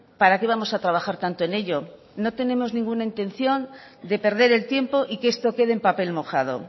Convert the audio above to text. para qué vamos a trabajar tanto en ello no tenemos ninguna intención de perder el tiempo y que esto quede en papel mojado